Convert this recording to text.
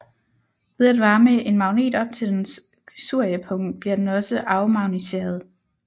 Ved at varme en magnet op til dens curiepunkt bliver den også afmagnetiseret